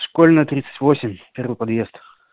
школьная тридцать восемь первый подъезд